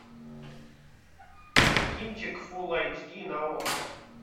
кинчик фулл айч ди на окко